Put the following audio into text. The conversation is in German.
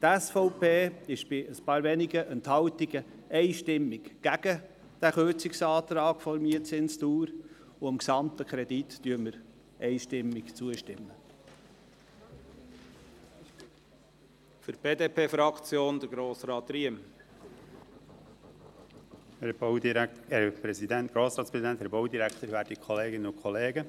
Die SVP ist abgesehen von ein paar wenigen Enthaltungen einstimmig gegen den Kürzungsantrag betreffend die Mietzinsdauer, und sie stimmt dem Kredit einstimmig zu.